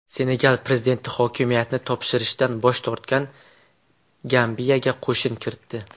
Senegal prezidenti hokimiyatni topshirishdan bosh tortgan Gambiyaga qo‘shin kiritdi.